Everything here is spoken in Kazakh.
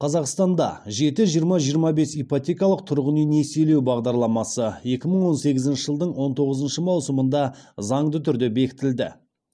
қазақстанда жеті жиырма жиырма бес ипотекалық тұрғын үй несиелеу бағдарламасы екі мың он сегізінші жылдың он тоғызыншы маусымында заңды түрде бекітілді